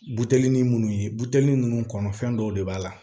Buteli nunnu ye buteli nunnu kɔnɔ fɛn dɔw de b'a la